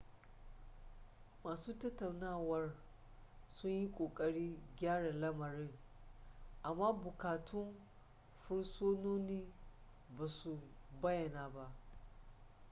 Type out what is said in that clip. masu tattaunawar sun yi kokarin gyara lamarin amma bukatun fursunonin ba su bayyana ba